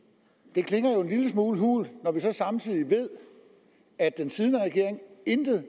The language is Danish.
det klinger jo en lille smule hult når vi så samtidig ved at den siddende regering intet